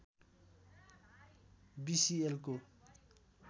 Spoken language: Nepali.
बि सि एल को